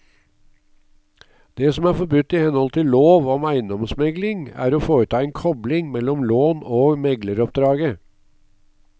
Det som er forbudt i henhold til lov om eiendomsmegling er å foreta en kobling mellom lån og megleroppdraget.